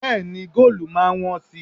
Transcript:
Bẹ́ẹ̀ni, góòlù máa wọ́n si.